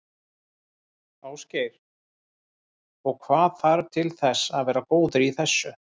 Ásgeir: Og hvað þarf til þess að vera góður í þessu?